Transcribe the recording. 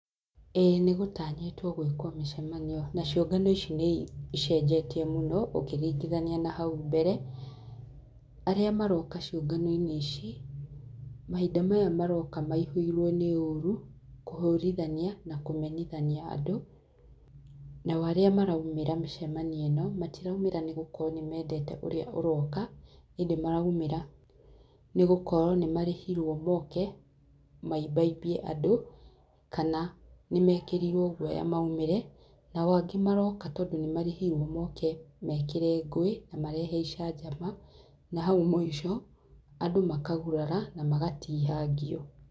Ĩĩ nĩgũtanyĩtwo gwĩkwo mĩcemanio, na ciũnganio icio nĩ icenjetie mũno ũkĩringithania na hau mbere. Arĩa maroka ciũnganio-inĩ ici, mahinda maya maroka maihũirwo nĩ ũrũ, kũhũrithania na kumenithania andũ. Nao arĩa maraumĩra mĩcemanio ĩno, matiraũmĩra nĩ gũkorwo nĩ meendeta ũrĩa ũroka, hĩndĩ maraũmĩra. Nĩ gũkorwo nĩ marĩhirwo moke, maimbaimbie andũ, kana, nĩ meekĩrirwio guoya maumĩre. Nao angĩ maroka tondũ nĩ marĩhirwo moke meekĩre ngũĩ, na marehe icanjama, na hau mũico, andũ makagũrara na magatihangio.